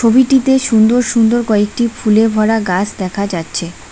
ছবিটিতে সুন্দর সুন্দর কয়েকটি ফুলে ভরা গাস দেখা যাচ্ছে।